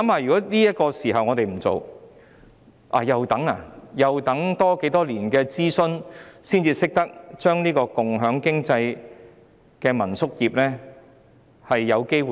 試想想，如果現時不做，要再等待多少年的諮詢才有機會把共享經濟的民宿業做好呢？